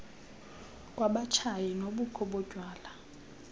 kwabatshayi nobukho botywala